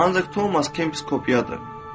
Ancaq Thomas Kempis kopyadır.